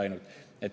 Ainult.